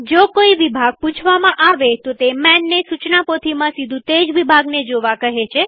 જો કોઈ વિભાગ પૂછવામાં આવેતો તે manને સુચના પોથીમાં સીધું તેજ વિભાગને જોવા કહે છે